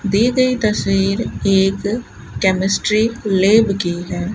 दी गई तस्वीर एक केमिस्ट्री लैब की है।